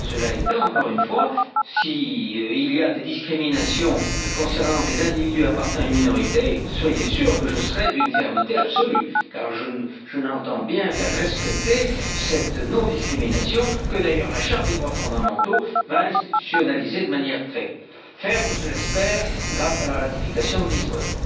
Cela étant, encore une fois, s'il y a des discriminations concernant des individus appartenant à une minorité, soyez sûr que je serai d'une fermeté absolue car j'entends bien faire respecter cette non discrimination, que d'ailleurs la Charte des droits fondamentaux va institutionnaliser de manière très ferme, je l'espère, grâce à la ratification de Lisbonne.